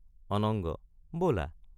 অনঙ্গ—বলা!